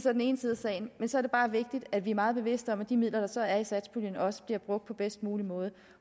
er den ene side af sagen så er det bare vigtigt at vi er meget bevidste om at de midler der så er i satspuljen også bliver brugt på bedst mulig måde